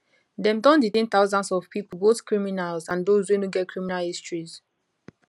dem don detain thousands of pipo both criminals and those wey no get criminal histories